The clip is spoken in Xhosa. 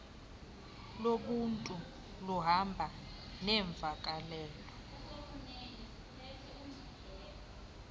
lobuntu luhamba neemvakalelo